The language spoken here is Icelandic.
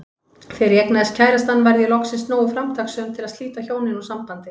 Þegar ég eignaðist kærastann varð ég loksins nógu framtakssöm til að slíta hjónin úr sambandi.